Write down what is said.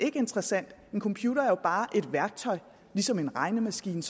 ikke interessant en computer er jo bare et værktøj ligesom en regnemaskine